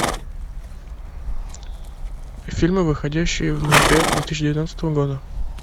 фильмы выходящие в ноябре две тысячи девятнадцатого года